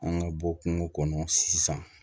An ka bɔ kungo kɔnɔ sisan